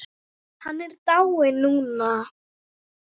Hann er dáinn núna.